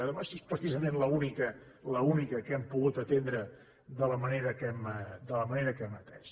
home si és precisament l’única l’única que hem pogut atendre de la manera que hem atès